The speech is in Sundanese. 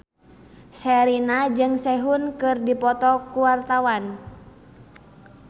Sherina jeung Sehun keur dipoto ku wartawan